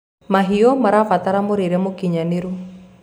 mahiũ irabatara mũrĩre mũũkĩnyanĩru